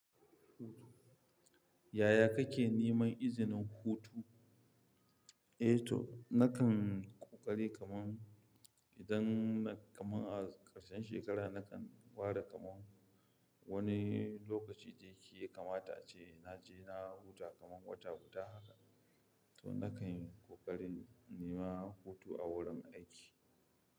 Yaya kake neman izinin hutu? Eh to nakan ƙoƙari kaman idan kaman a ƙarshen shekara nakan bada kaman wani lokaci da ke kamata ce naje na huta kaman wata huta haka. To nakan yi kokarin nema hutu a wurin aiki.